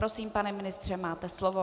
Prosím, pane ministře, máte slovo.